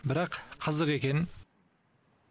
бірақ қызық екен